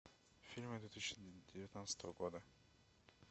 фильмы две тысячи девятнадцатого года